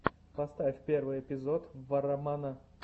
поставь первый эпизод варромана